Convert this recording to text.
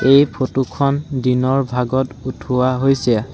এই ফটো খন দিনৰ ভাগত উঠোৱা হৈছে।